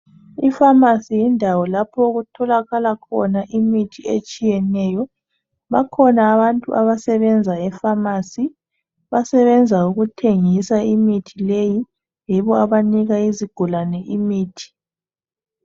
Ifamasi yindawo lapho okutholakala khona mithi etshiyeneyo. Bakhona abantu abasebenza efamasi, basebenza ukuthengisa imithi leyi, yibo abanika izigulane imithi.